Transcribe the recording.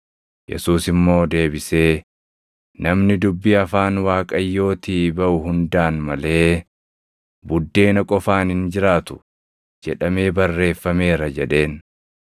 Yesuus immoo deebisee, “ ‘Namni dubbii afaan Waaqayyootii baʼu hundaan malee buddeena qofaan hin jiraatu’ + 4:4 \+xt KeD 8:3\+xt* jedhamee barreeffameera” jedheen.